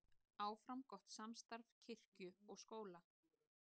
Áfram gott samstarf kirkju og skóla